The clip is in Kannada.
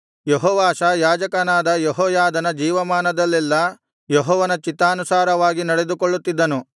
ಯೆಹೋವಾಷ ಯಾಜಕನಾದ ಯೆಹೋಯಾದನ ಜೀವಮಾನದಲ್ಲೆಲ್ಲಾ ಯೆಹೋವನ ಚಿತ್ತಾನುಸಾರವಾಗಿ ನಡೆದುಕೊಳ್ಳುತ್ತಿದ್ದನು